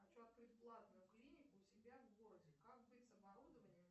хочу открыть платную клинику у себя в городе как быть с оборудованием